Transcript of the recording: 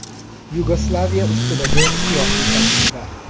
Yugoslaviya ustidagi siyosiy tajriba.